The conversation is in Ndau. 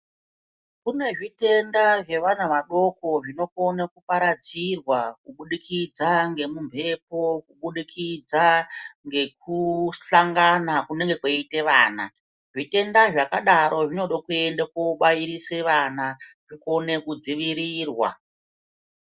Kune zvitenda zvevana vadoko zvinokona kuparadzirwa kubudikidza ngemumbepo kubudikidza ngesangana kunenge kweiite vana zvitenda zvakadaro zvinode kuende kobairise vana zvikone kudzivirirwa.